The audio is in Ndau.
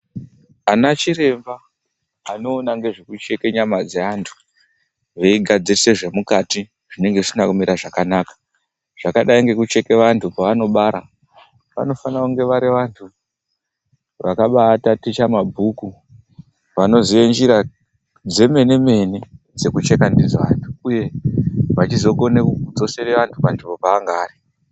Ana chiremba vanoona zvekucheka nyama dzevandu veigadzirisa zvinenge zvisina kumira zvakanaka zvakadai nekucheka vandu pavanenge vachibara vanofana kuva vari vantu vakataticha mabhuku vanoziva njira dzemene mene dzekucheka ndidzo vantu, uye vachikone kuzodzorere vantu panzvimbo dzaangaari.